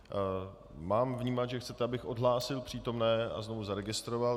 Mám vnímat, že chcete, abych odhlásil přítomné a znovu zaregistroval?